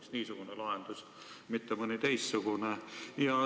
Miks niisugune lahendus, mitte mõni teistsugune?